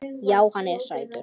Já, hann er sætur.